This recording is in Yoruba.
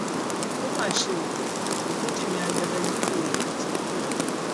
ó mà ṣe o ogunjìnmí ajàgàjìgì oògùn ti kú o